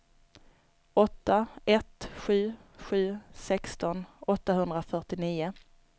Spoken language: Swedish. åtta ett sju sju sexton åttahundrafyrtionio